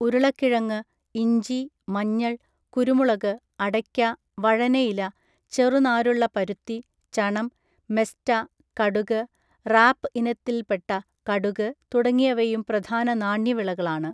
ഉരുളക്കിഴങ്ങ്, ഇഞ്ചി, മഞ്ഞൾ, കുരുമുളക്, അടയ്ക്ക, വഴനയില, ചെറുനാരുള്ള പരുത്തി, ചണം, മെസ്റ്റ, കടുക്, റാപ് ഇനത്തില്‍പ്പെട്ട കടുക്, തുടങ്ങിയവയും പ്രധാന നാണ്യവിളകളാണ്.